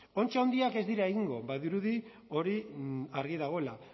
ontzi handiak ez dira egingo badirudi hori argi dagoela